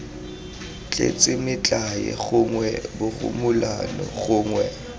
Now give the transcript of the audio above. tletse metlae gongwe borumolano gongwe